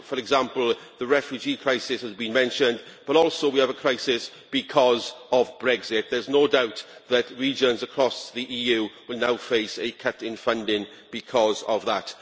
For example, the refugee crisis has been mentioned, but also we have a crisis because of Brexit. There is no doubt that regions across the EU will now face a cut in funding because of that.